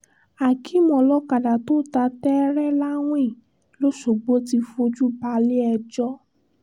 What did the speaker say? akéem olókàdá tó ta tẹ́tẹ́ láwìn lọ́sgbọ̀ ti fojú balẹ̀-ẹjọ́